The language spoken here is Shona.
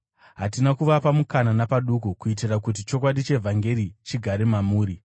Hatina kuvapa mukana napaduku, kuitira kuti chokwadi chevhangeri chigare mamuri.